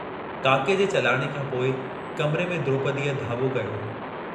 काके जे चालाणे खां पोइ कमरे में द्रोपदीअ धाबो कयो हो।